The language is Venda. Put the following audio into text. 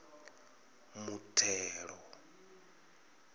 muthelo